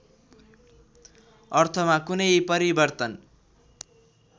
अर्थमा कुनै परिवर्तन